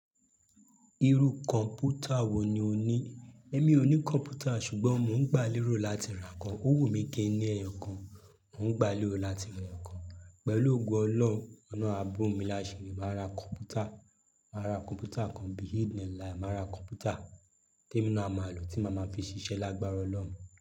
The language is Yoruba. Irú kọ̀mpútà wo ni o ní? Émi ò ní kọ̀mpútà ṣùgbọ́n mo ń gbà lérò láti ra ọ̀kan. Owu mi kì í ní ẹyọ kan, mò ń gbà lérò láti ra ẹkan. Pẹ̀lú ògo Ọlọ́run ọ̀lọhun àbọ̀ mi láṣiri màá ra kọ̀mpútà. Màá ra kọ̀mpútà kan behind the line, màá ra kọ̀mpútà tí èmi náà máa lò tí màá máa fi ṣiṣẹ́ lágbára Ọlọ́run.